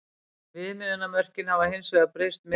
Viðmiðunarmörkin hafa hins vegar breyst minna.